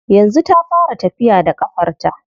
Yanzu ta fara tafiya da ƙafarta.